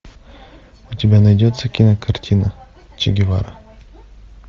у тебя найдется кинокартина че гевара